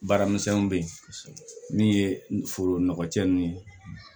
Baaramisɛnninw bɛ yen min ye foro nɔgɔcɛ ninnu ye